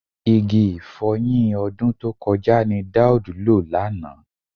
Igi ì̀fọyin ọdún tó kọjá ni Daud lò lánàá